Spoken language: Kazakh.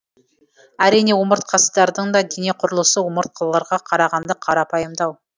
әрине омыртқасыздардың да дене құрылысы омыртқыларға қарағанда қарапайымдау